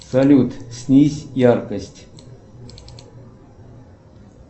салют снизь яркость